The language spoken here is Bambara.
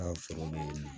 An ka foro be wuli